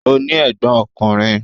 Ó ní ẹ̀gbọ́n ọkùnrin.